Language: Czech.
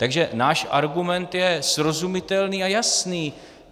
Takže náš argument je srozumitelný a jasný.